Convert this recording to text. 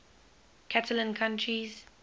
catalan countries